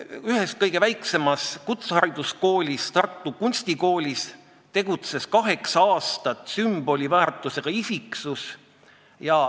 Ühes kõige väiksemas kutsehariduskoolis, Tartu Kunstikoolis, tegutses kaheksa aastat sümboliväärtusega isiksus.